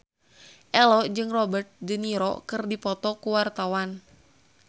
Ello jeung Robert de Niro keur dipoto ku wartawan